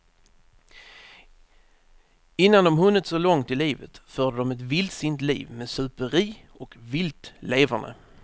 Innan de hunnit så långt i livet förde de ett vildsint liv, med superi och vilt leverne.